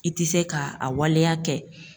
I tɛ se ka a waleya kɛ